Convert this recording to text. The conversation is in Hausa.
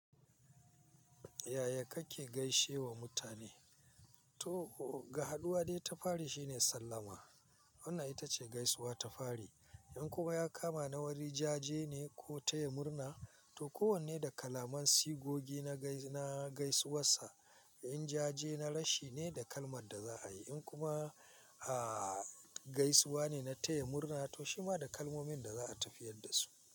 Yaya kake gaishe wa mutane? To ga haduwa dai ta fari shine sallama wannan ita ce gaisuwa ta fari. In kuma ya kama na wani jaje ne ko taya murna to kowanne da kalaman sigogi na gaisuwar sa. In jaje na rashi ne da kalmar da za a yi in kuma a gaisuwa ne na taya murna to shi ma da kalmomin da za a tafiyar da su.